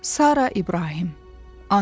Sara İbrahim, ana.